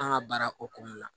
An ka baara hokumu na